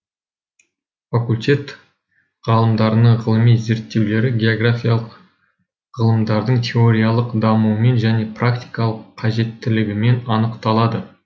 факультет ғалымдарының ғылыми зерттеулері географиялық ғылымдардың теориялық дамуымен және практикалық қажеттілігімен анықталады